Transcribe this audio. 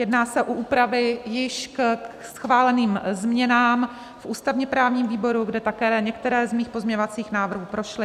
Jedná se o úpravy již ke schváleným změnám v ústavně-právním výboru, kde také některé z mých pozměňovacích návrhů prošly.